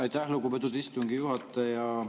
Aitäh, lugupeetud istungi juhataja!